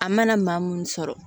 A mana maa mun sɔrɔ